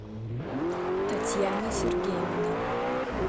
татьяны сергеевны